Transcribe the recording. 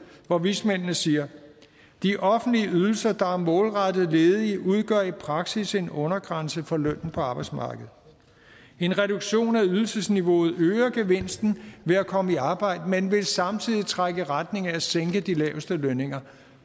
hvor vismændene siger de offentlige ydelser der er målrettet ledige udgør i praksis en undergrænse for lønnen på arbejdsmarkedet en reduktion af ydelsesniveauet øger gevinsten ved at komme i arbejde men vil samtidig trække i retning af at sænke de laveste lønninger